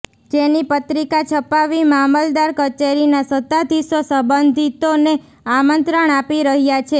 જેની પત્રિકા છપાવી મામલદાર કચેરીના સત્તાધિશો સંબંધિતોને આમંત્રણ આપી રહ્યા છે